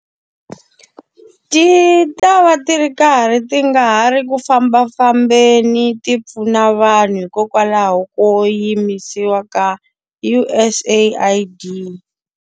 Ti ta va ti ri karhi ti nga ha ri ku fambafambeni ti pfuna vanhu hikokwalaho ko yimisiwa ka U_S AID.